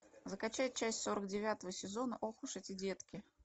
закачай часть сорок девятого сезона ох уж эти детки